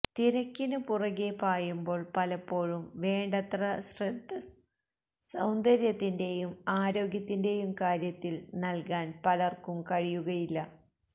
തിരക്കിനു പുറകേ പായുമ്പോള് പലപ്പോഴും വേണ്ടത്ര ശ്രദ്ധ സൌന്ദര്യത്തിന്റേയും ആരോഗ്യത്തിന്റേയും കാര്യത്തില് നല്കാന് പലര്ക്കും കഴിയുകയില്ല